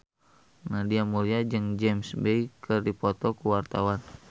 Nadia Mulya jeung James Bay keur dipoto ku wartawan